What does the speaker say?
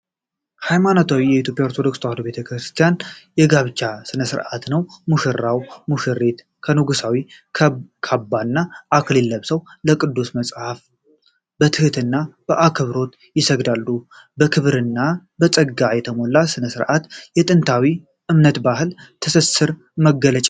ሃይማኖታዊ የኢትዮጵያ ኦርቶዶክስ ተዋሕዶ ቤተ ክርስቲያን የጋብቻ ሥነ ሥርዓትን ነው። ሙሽራና ሙሽሪት የንጉሣዊ ካባና አክሊል ለብሰው ለቅዱስ መጽሐፍ በትህትና አክብሮት ይሰግዳሉ። በክብርና በጸጋ የተሞላ ይህ ሥርዓት የጥንታዊ እምነትና የባህል ትስስር መገለጫ ነው።